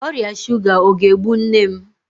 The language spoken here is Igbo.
Ọrịa shuga ọ ga-egbu nne m?